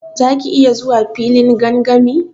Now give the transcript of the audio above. Za ki iya zuwa filin gangami?